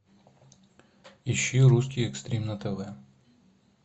ищи русский экстрим на тв